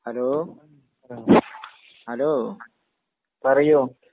hello, ഹലോ...പറയൂ..